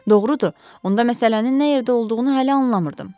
Doğrudur, onda məsələnin nə yerdə olduğunu hələ anlamırdım.